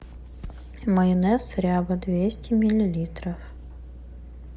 майонез ряба двести миллилитров